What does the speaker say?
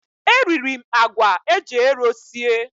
E riri m àgwà eji ero sie.